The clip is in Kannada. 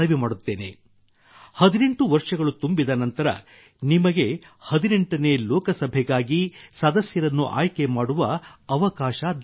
18 ವರ್ಷಗಳು ತುಂಬಿದ ನಂತರ ನಿಮಗೆ 18ನೇ ಲೋಕಸಭೆಗಾಗಿ ಸದಸ್ಯರನ್ನು ಆಯ್ಕೆ ಮಾಡುವ ಅವಕಾಶ ದೊರೆಯುತ್ತಿದೆ